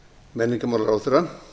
menningarmálaráðherra að